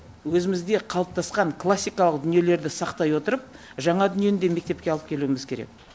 өзімізде қалыптасқан классикалық дүниелерді сақтай отырып жаңа дүниені де мектепке алып келуіміз керек